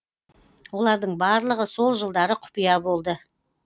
олардың барлығы сол жылдары құпия болды